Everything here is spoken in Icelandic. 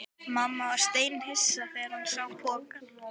Mamma varð steinhissa þegar hún sá pokann.